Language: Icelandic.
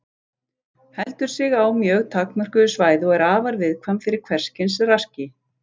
Heldur sig á mjög takmörkuðu svæði og er afar viðkvæm fyrir hvers kyns raski.